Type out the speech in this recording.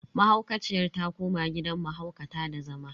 Mahaukaciyar ta koma gidan mahaukata da zama.